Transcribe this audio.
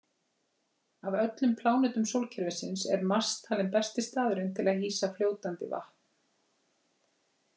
Af öllum plánetum sólkerfisins er Mars talinn besti staðurinn til að hýsa fljótandi vatn.